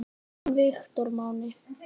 Þinn Viktor Máni.